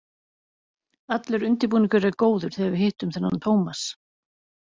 Allur undirbúningur er góður þegar við hittum þennan Tómas.